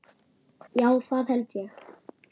Já, það held ég.